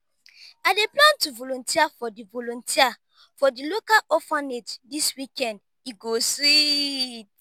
i dey plan to volunteer for di volunteer for di local orphanage this weekend e go sweet.